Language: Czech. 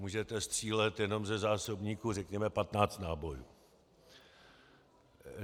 Můžete střílet jenom ze zásobníku řekněme 15 nábojů.